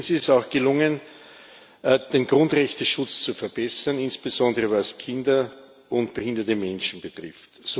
Drittens ist es auch gelungen, den Grundrechteschutz zu verbessern, insbesondere was Kinder und behinderte Menschen betrifft.